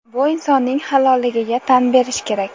Bu insonning halolligiga tan berish kerak.